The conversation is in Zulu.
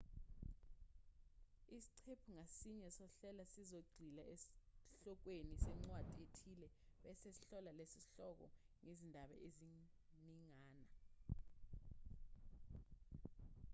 isiqephu ngasinye sohlelo sizogxila esihlokweni sencwadi ethile bese sihlola leso sihloko ngezindaba eziningana